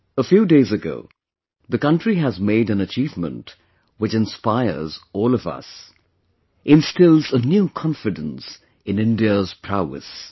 A few days ago, the country has made an achievement, which inspires all of us... instills a new confidence in India's prowess